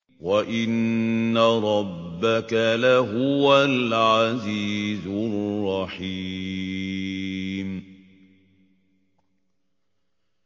وَإِنَّ رَبَّكَ لَهُوَ الْعَزِيزُ الرَّحِيمُ